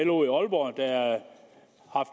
lo i aalborg